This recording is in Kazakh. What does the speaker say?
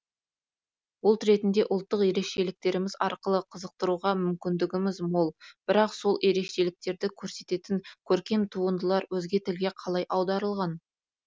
ұлт ретінде ұлттық ерекшеліктеріміз арқылы қызықтыруға мүмкіндігіміз мол бірақ сол ерекшеліктерді көрсететін көркем туындылар өзге тілге қалай аударылған